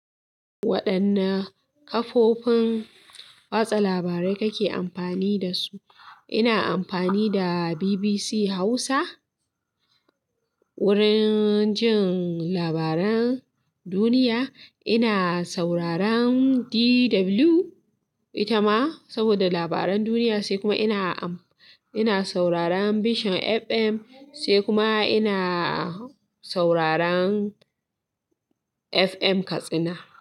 Waɗanne kafofin watsa labarai kake amfani da su? Ina amfani da BBC Hausa wurin jin labaran duniya. Ina sauraron DW ita ma saboda labaran duniya, sai kuma ina, ina sauraron Vision FM, sai kuma ina sauraron FM Katsina.